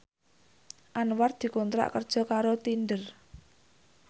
Anwar dikontrak kerja karo Tinder